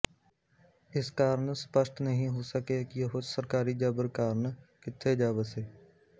ਇਸ ਕਾਰਨ ਸਪਸ਼ਟ ਨਹੀਂ ਹੋ ਸਕਿਆ ਕਿ ਉਹ ਸਰਕਾਰੀ ਜਬਰ ਕਾਰਨ ਕਿੱਥੇ ਜਾ ਵਸੇ